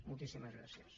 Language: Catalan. moltíssimes gràcies